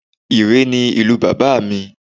Ìréé ni ìlú bàbá mi